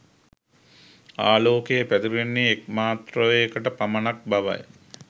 ආලෝකය පැතිරෙන්නේ එක් මත්‍රාවයකට පමණක් බවයි.